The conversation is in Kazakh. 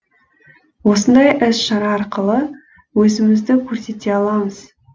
осындай іс шара арқылы өзімізді көрсете аламыз